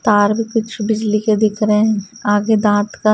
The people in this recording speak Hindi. तार भी कुछ बिजली के दिख रहे हैं आगे दांत का।